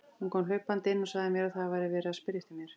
Hún kom hlaupandi inn og sagði að það væri verið að spyrja eftir mér.